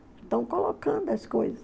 Estão colocando as coisas.